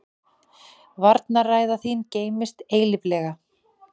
Varnarræða þín geymist eilíflega.